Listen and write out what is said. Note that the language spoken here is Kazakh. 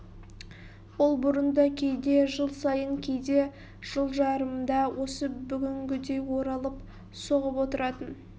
ол бұрын да кейде жыл сайын кейде жыл жарымда осы бүгінгідей оралып соғып отыратын